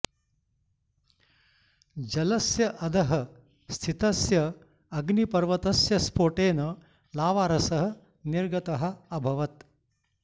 जलस्य अधः स्थितस्य अग्निपर्वतस्य स्फोटेन लावारसः निर्गतः अभवत्